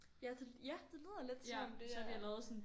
Ja det ja det lyder lidt som om det er